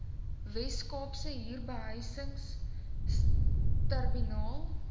wes kaapse huurbehuisingstribunaal